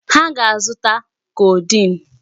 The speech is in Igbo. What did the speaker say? Ha ga-azụta codeine.